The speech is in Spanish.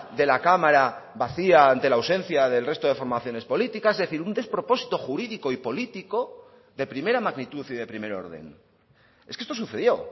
de la cámara vacía ante la ausencia del resto de formaciones políticas es decir un despropósito jurídico y político de primera magnitud y de primer orden es que esto sucedió